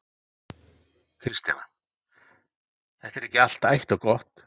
Kristjana: Þetta er ekki allt ætt og gott?